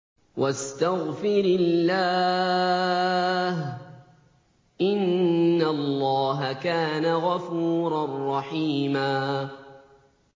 وَاسْتَغْفِرِ اللَّهَ ۖ إِنَّ اللَّهَ كَانَ غَفُورًا رَّحِيمًا